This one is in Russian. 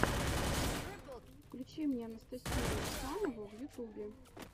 включи мне анастасию ефанову в ютубе